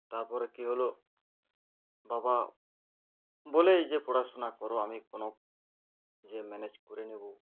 তারপরে কি হলো বাবা বলে যে পড়াশোনা করো আমি কোনো যে manage করে নেবো